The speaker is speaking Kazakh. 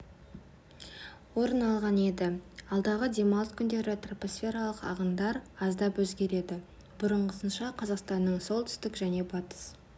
орын алған еді алдағы демалыс күндері тропосфералық ағындар аздап өзгереді бұрынғысынша қазақстанның солтүстік және батыс